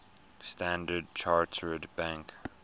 standard chartered bank